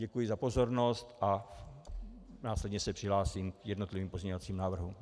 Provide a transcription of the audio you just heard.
Děkuji za pozornost a následně se přihlásím k jednotlivým pozměňovacím návrhům.